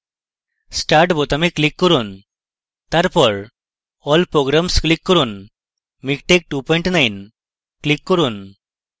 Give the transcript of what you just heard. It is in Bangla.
start বোতামে click করুন তারপর all programs click করুন miktex29 click করুন